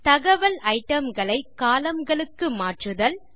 தகவல் itemகளை columnகளுக்கு மாற்றுதல் 5